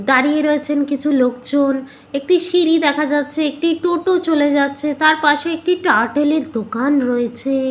দাঁড়িয়ে রয়েছেন কিছু লোকজন একটি সিঁড়ি দেখা যাচ্ছে একটি টোটো চলে যাচ্ছে তার পাশে একটি টার্টল এর দোকান রয়ে-এছে।